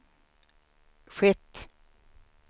skett